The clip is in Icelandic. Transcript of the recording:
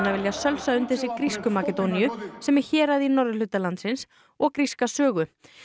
vilja sölsa undir sig grísku Makedóníu sem er hérað í norðurhluta landsins og gríska sögu